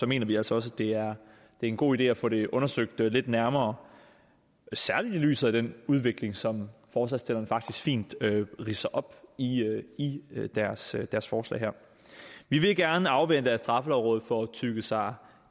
mener vi altså også det er en god idé at få det undersøgt lidt nærmere særlig i lyset af den udvikling som forslagsstillerne faktisk fint ridser op i i deres deres forslag her vi vil gerne afvente at straffelovrådet får tygget sig